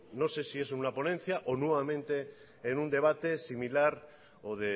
no sé si es una ponencia o nuevamente en un debate similar o